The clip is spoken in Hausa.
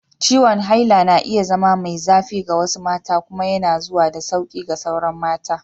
Ciwon haila na iya zama mai zafi ga wasu mata kuma yana zuwa da sauƙi ga sauran mata.